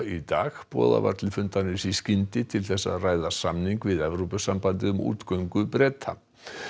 í dag boðað var til fundarins í skyndi til þess að ræða samning við Evrópusambandið um útgöngu Breta